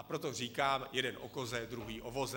A proto říkám, jeden o koze, druhý o voze.